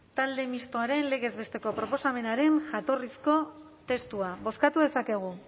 talde mistoaren legez besteko proposamenaren jatorrizko testua bozkatu dezakegu